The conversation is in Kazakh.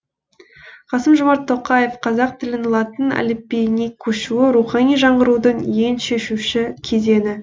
қасым жомарт тоқаев қазақ тілінің латын әліпбиіне көшуі рухани жаңғырудың ең шешуші кезеңі